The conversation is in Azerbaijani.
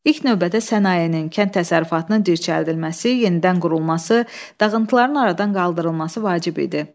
İlk növbədə sənayenin, kənd təsərrüfatının dirçəldilməsi, yenidən qurulması, dağıntıların aradan qaldırılması vacib idi.